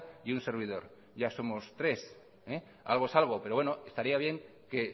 y un servidor ya somos tres algo es algo pero bueno estaría bien que